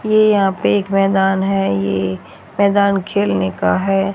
ये यहां पे एक मैदान है ये मैदान खेलने का है।